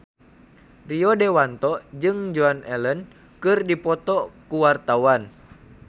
Rio Dewanto jeung Joan Allen keur dipoto ku wartawan